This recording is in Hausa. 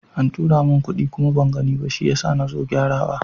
An tura min kuɗi kuma ban gani ba, shi yasa nazo gyara wa.